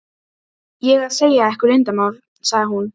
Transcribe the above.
ég að segja ykkur leyndarmál? sagði hún.